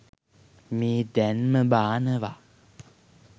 මේ දැන්ම බානවා.